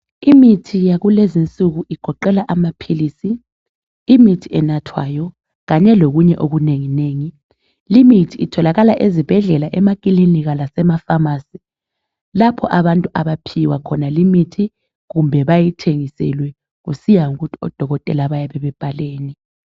Imithi yakulezi nsuku igoqela amaphilisi imithi enathwayo kanye lokunye okunengi nengi limithi itholakala ezibhedlela emakilinika lasemafamasi lapho abantu abaphiwa khona imithi kumbe bayithengeselwe kusiya ngokuthi odokotela bayabe bebhaleni.